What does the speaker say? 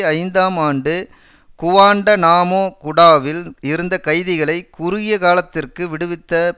ஐந்தாம் ஆண்டு குவான்டநாமோ குடாவில் இருந்த கைதிகளை குறுகிய காலத்திற்கு விடுவித்த